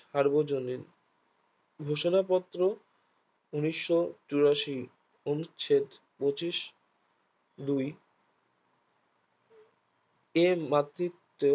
সার্বজনীন ঘোষণা পত্র উনিশশো চুরাশি এবং পঁচিশো দুই এর মাতৃত্বে